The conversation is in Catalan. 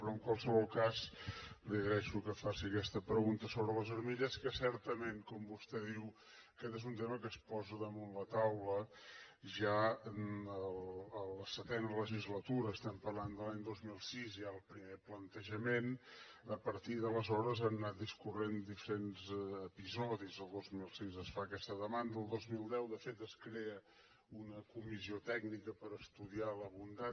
però en qualsevol cas li agraeixo que faci aquesta pregunta sobre les armilles que certament com vostè diu aquest és un tema que es posa damunt la taula ja a la setena legislatura estem parlant de l’any dos mil sis hi ha el primer plantejament a partir d’aleshores han anat discorrent diferents episodis el dos mil sis es fa aquesta demanda el dos mil deu de fet es crea una comissió tècnica per estudiar la bondat